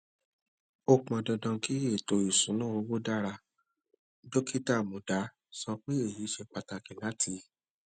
ó pọn dandan kí ètò ìṣúnná owó dára dókítà muda sọ pé èyí ṣe pàtàkì láti